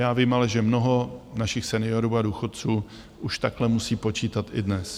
Já vím ale, že mnoho našich seniorů a důchodců už takhle musí počítat i dnes.